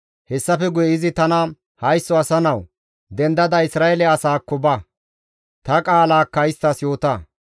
Hessafe guye izi tana, «Haysso asa nawu! Dendada Isra7eele asaakko ba; ta qaalakka isttas yoota.